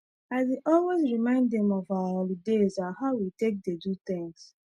i dey always remind dem of our holidays and how we take dey do things